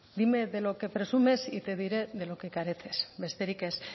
dime de lo que presumes y te diré de lo que careces besterik ez